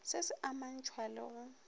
se se amantšhwa le go